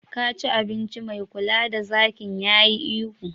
Ka ci abinci! mai kula da zakin yayi ihu